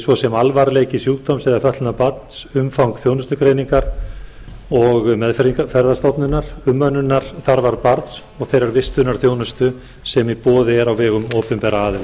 svo sem alvarleiki sjúkdóms eða fötlunar barns umfang þjónustugreiningar og meðferðarstofnunar umönnunarþarfar barns og þeirrar vistunarþjónustu sem í boði er á vegum opinberra aðila